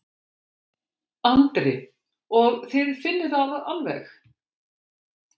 Andri: Og þið finnið það alveg?